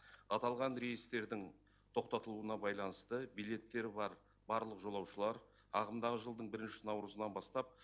аталған рейстердің тоқтатылуына байланысты билеттері бар барлық жолаушылар ағымдағы жылдың бірінші наурызынан бастап